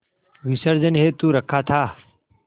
विसर्जन हेतु रखा था